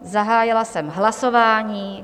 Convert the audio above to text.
Zahájila jsem hlasování.